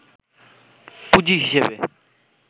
পুঁজি হিসেবে